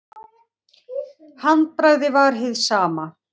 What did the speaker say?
Handbragðið var hið sama.